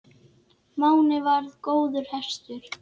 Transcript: Máni varð góður hestur.